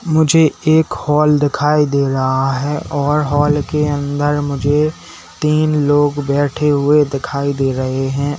मुझे एक हॉल दिखाई दे रहा है और हाल के अंदर मुझे तीन लोग बैठे हुए दिखाई दे रहे हैं।